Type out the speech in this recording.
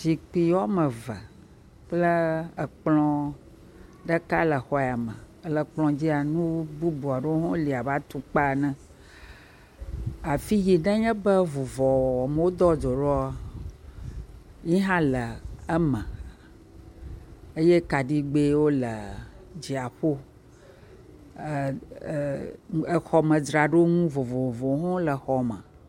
Zikpui woame eve kple ekplɔ ɖeka le exɔ ya me, le ekplɔ dzia nu bubu wo li abe atukpa ene, afi yi nenye be vuvɔ wɔwɔm wodoa dzo ɖo yi hã le eme eye kaɖigbewo le dzia ƒo, ee…e..e…exɔmedzraɖonu vovovowo le xɔa me.